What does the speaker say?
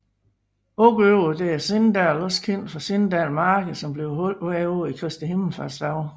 Udover det er Sindal også kendt for Sindal marked som bliver holdt hvert år i Kristi himmelfartsdagene